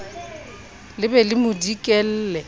le be le mo dikelle